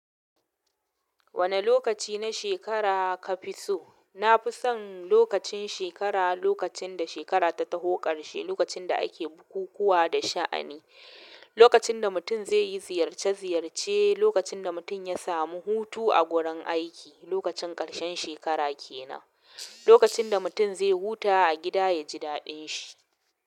Wane lokaci na shekara ka fi so? Nafison lokacin shekara lokacin da shekara ta taho ƙarshe lokacin da ake bukukuwa da shaani lokacin da mutum zai yi ziyarce-ziyarce, lokacin da mutum ya samu hutu a gurin aiki, lokacin ƙarshen shekara ke nan, lokacin da mutum zai huta a gida ya ji daɗin shi.